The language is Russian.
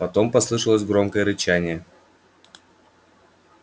потом послышалось громкое рычание